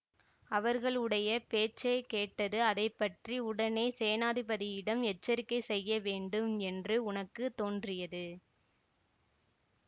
அவர்களுடைய பேச்சை கேட்டது அதை பற்றி உடனே சேநாதிபதியிடம் எச்சரிக்கை செய்யவேண்டும் என்று உனக்கு தோன்றியது